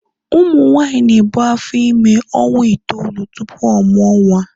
ụmụ nwanyị na-ebu afọ ime ọnwa itoolu tupu ọ mụọ nwa